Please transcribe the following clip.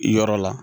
Yɔrɔ la